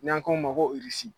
N'an ko ma ko .